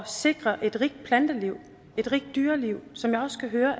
sikre et rigt planteliv et rigt dyreliv som jeg også kan høre